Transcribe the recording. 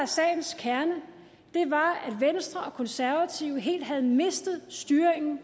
sagens kerne var at venstre og konservative helt havde mistet styringen